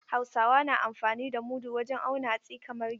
Hausawa na amfani da mudu wajen auna hatsi kamar gero.